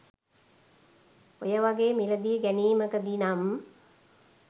ඔය වගේ මිළදී ගැනිමකදි නම්